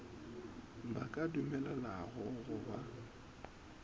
ba ka dumelelwago go ba